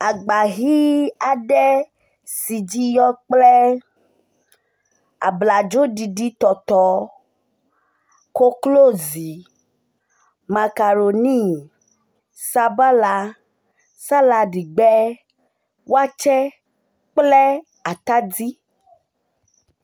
Agba ʋi aɖe si dzi yɔ kple abladzoɖiɖitɔtɔ, koklozi, makaɖoni, sabala, saladigbe, watsɛ kple atadi.